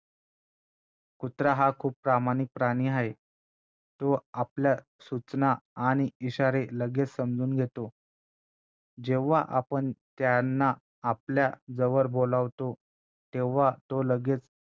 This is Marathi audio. कुत्रा हा खूप प्रामाणिक प्राणी आहे तो आपल्या सूचना आणि इशारे लगेच समजून घेतो जेव्हा आपण त्यांना आपल्या जवळ बोलावतो तेव्हा तो लगेचं